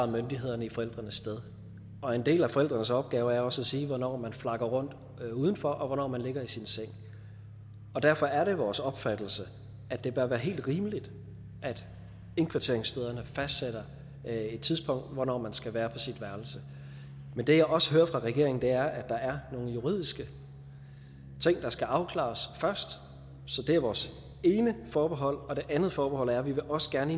myndighederne i forældrenes sted og en del af forældrenes opgave er også at sige til børnene hvornår man flakker rundt udenfor og hvornår man ligger i sin seng derfor er det vores opfattelse at det bør være helt rimeligt at indkvarteringsstederne fastsætter et tidspunkt for hvornår man skal være på sit værelse men det jeg også hører fra regeringen er at der er nogle juridiske ting der skal afklares først så det er vores ene forbehold og det andet forbehold er at vi også gerne